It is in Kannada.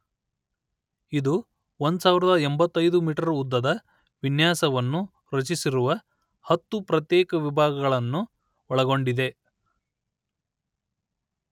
ಇದು ಒಂದು ಸಾವಿರದ ಎಂಬತೈದು ಮೀಟರ್ ಉದ್ದದ ವಿನ್ಯಾಸವನ್ನು ರಚಿಸಿರುವ ಹತ್ತು ಪ್ರತ್ಯೇಕ ವಿಭಾಗಗಳನ್ನು ಒಳಗೊಂಡಿದೆ